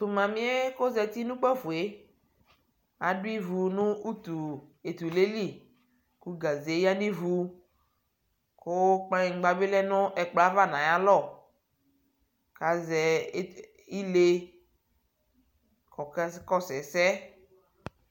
Tʋ mami yɛ kʋ ozati nʋ ikpoku, yɛ adʋ ivu nʋ utu etule yɛ lι kʋ gaze ya nʋ ivu kʋ kpaŋkpa bι lɛ nʋ ɛkplɔ ayʋ ava nʋ ayʋ alɔ kʋ aze ile kʋ ɔkakɔsu ɛsɛ